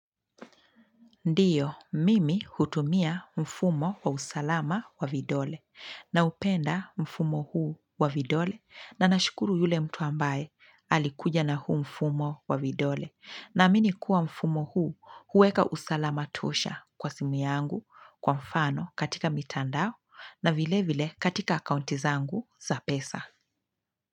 Ndiyo, mimi hutumia mfumo wa usalama wa vidole na upenda mfumo huu wa vidole na nashukuru yule mtu ambaye alikuja na huu mfumo wa vidole na amini kuwa mfumo huu huweka usalama tosha kwa simu yangu kwa mfano katika mitandao na vile vile katika kaunti zangu za pesa.